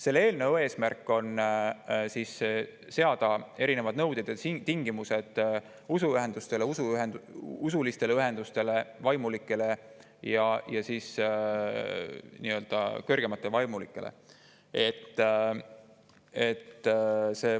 Selle eelnõu eesmärk on seada erinevad nõuded ja tingimused usuühingutele, usulistele ühendustele, vaimulikele ja kõrgematele vaimulikele.